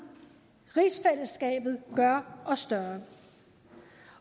rigsfællesskabet gør os større